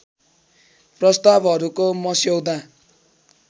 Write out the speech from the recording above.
प्रस्तावहरूको मस्यौदा